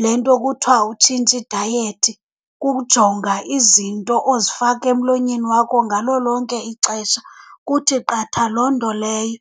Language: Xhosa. le nto kuthiwa utshintsha idayethi, kukujonga izinto ozifaka emlonyeni wakho ngalo lonke ixesha. Kuthi qatha loo nto leyo.